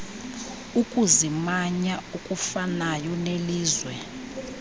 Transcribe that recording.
ukuzimanya okufanayo nelizwe